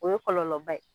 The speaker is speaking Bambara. O ye kɔlɔlɔba ye